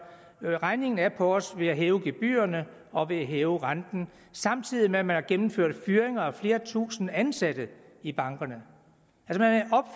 regningen af på os ved at hæve gebyrerne og ved at hæve renten samtidig med at man har gennemført fyringer af flere tusinde ansatte i bankerne